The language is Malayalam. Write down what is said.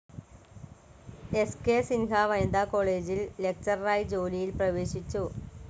എസ്‌കെ സിൻഹ വനിതാ കോളേജിൽ ലെക്ചററായി ജോലിയിൽ പ്രവേശിച്ചു.